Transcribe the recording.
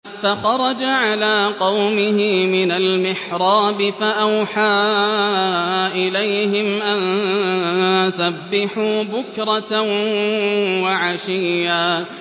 فَخَرَجَ عَلَىٰ قَوْمِهِ مِنَ الْمِحْرَابِ فَأَوْحَىٰ إِلَيْهِمْ أَن سَبِّحُوا بُكْرَةً وَعَشِيًّا